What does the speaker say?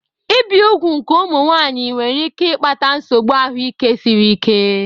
Ibi úgwù nke ụmụ nwanyị nwere ike ịkpata nsogbu ahụike siri ike.